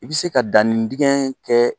I bi se ka dannin dingɛ kɛ